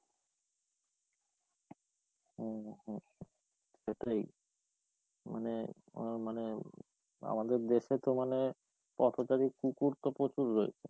হম, সেটাই মানে, মানে আমাদের দেশে তো মানে, পথচারী কুকুর তো প্রচুর রয়েছে।